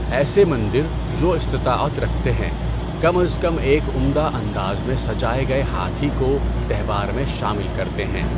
ایسے مندر، جو استطاعت رکھتے ہیں، کم از کم ایک عمدہ انداز میں سجائے گئے ہاتھی کو تہوار میں شامل کرتے ہیں۔